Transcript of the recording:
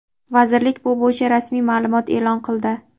Vazirlik bu bo‘yicha rasmiy ma’lumot e’lon qildi.